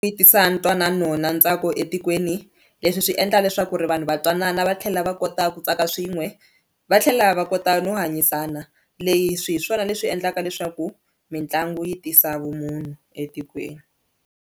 Yi tisa ntwanano na ntsako etikweni leswi swi endla leswaku ri vanhu va twanana va tlhela va kota ku tsaka swin'we va tlhela va kota no hanyisana, leyi swi hi swona leswi endlaka leswaku mitlangu yi tisa vumunhu etikweni.